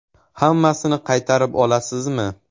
Hammasini qaytarib olasizmi?